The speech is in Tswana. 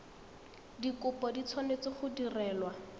dikopo di tshwanetse go direlwa